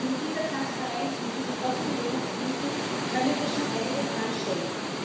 Aber mit dieser Transparenz, mit diesen Offenlegungspflichten können wir schon einiges anstellen.